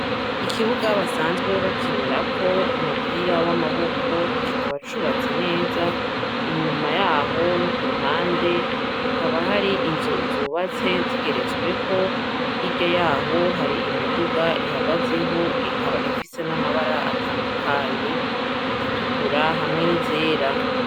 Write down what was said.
Ikibuga basanzwe bakinirako umupira w'amaboko, kikaba cubatse neza, inyuma yaho no kuruhande hakaba hari inzu zubatse zigeretsweko, hirya y'aho hari imiduga ihagaze ho ikaba ifise amabara atandukanye izitukura hamwe n'izera.